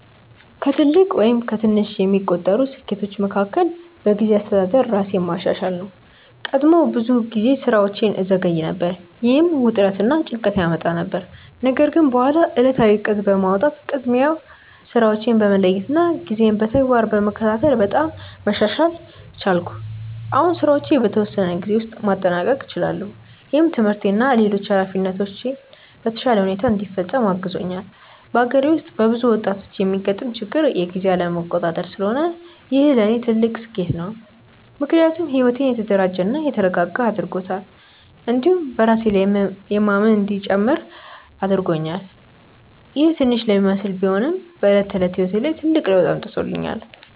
ከትልቅ ወይም ከትንሽ የሚቆጠሩ ስኬቶቼ መካከል በጊዜ አስተዳደር ራሴን ማሻሻል ነው። ቀድሞ ብዙ ጊዜ ስራዎቼን እዘገይ ነበር፣ ይህም ውጥረት እና ጭንቀት ያመጣ ነበር። ነገር ግን በኋላ ዕለታዊ እቅድ በማውጣት፣ ቅድሚያ ስራዎችን በመለየት እና ጊዜን በተግባር በመከታተል በጣም መሻሻል ቻልኩ። አሁን ስራዎቼን በተወሰነ ጊዜ ውስጥ ማጠናቀቅ እችላለሁ፣ ይህም ትምህርቴን እና ሌሎች ኃላፊነቶቼን በተሻለ ሁኔታ እንዲፈጽም አግዞኛል። በአገሬ ውስጥ በብዙ ወጣቶች የሚገጥም ችግር የጊዜ አለመቆጣጠር ስለሆነ ይህ ለእኔ ትልቅ ስኬት ነው። ምክንያቱም ሕይወቴን የተደራጀ እና የተረጋጋ አድርጎታል፣ እንዲሁም በራሴ ላይ የማምን እንዲጨምር አድርጎኛል። ይህ ትንሽ ለሚመስል ቢሆንም በዕለት ተዕለት ሕይወት ላይ ትልቅ ለውጥ አምጥቶኛል።